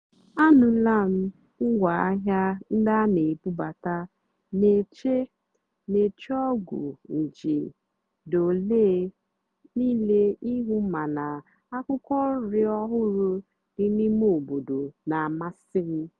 ànụ́lá m ngwáàhịá ndí á nà-èbúbátá nà-èché nà-èché ọ́gwụ́ njìé dì óléé níìlé íhú màná ákwụ́kwọ́ nrì ọ́hụ́rụ́ dì n'íìmé óbòdò nà-àmàsị́ m.